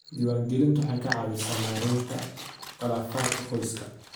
Diiwaangelintu waxay ka caawisaa maaraynta khilaafaadka qoyska.